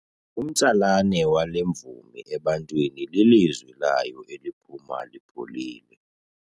Umtsalane wale mvumi ebantwini lilizwi layo eliphuma lipholile.